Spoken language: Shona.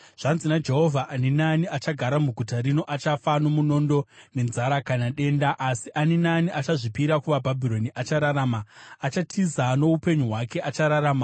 “Zvanzi naJehovha: ‘Ani naani achagara muguta rino achafa nomunondo, nenzara kana denda, asi ani naani achazvipira kuvaBhabhironi achararama. Achatiza noupenyu hwake; achararama.’